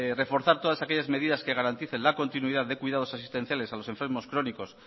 reforzar todas aquellas medidas que garanticen la continuidad de cuidados asistenciales a los enfermos crónicos